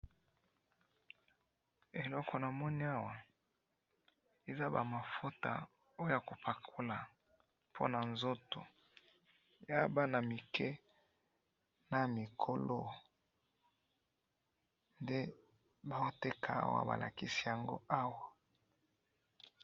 Eloko namoni awa ,eza ba mafuta oyo ya kopakola pona nzoto eza ya bana mike na mikolo, nde bazo teka awa balakisi yango awa